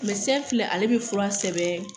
Mɛdesɛn filɛ ale be fura sɛbɛn